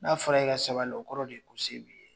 N'a fɔra k'i ka sabali, o kɔrɔ de ye ko se b'i ye!